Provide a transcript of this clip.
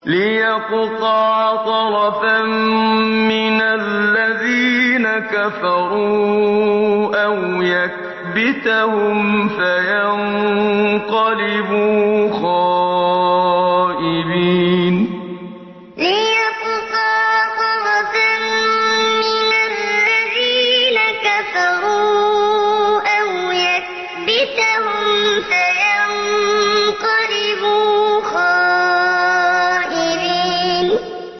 لِيَقْطَعَ طَرَفًا مِّنَ الَّذِينَ كَفَرُوا أَوْ يَكْبِتَهُمْ فَيَنقَلِبُوا خَائِبِينَ لِيَقْطَعَ طَرَفًا مِّنَ الَّذِينَ كَفَرُوا أَوْ يَكْبِتَهُمْ فَيَنقَلِبُوا خَائِبِينَ